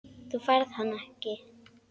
Þú færð hann ekki.